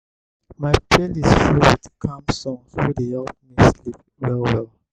my playlist full with calm songs wey dey help me sleep well well.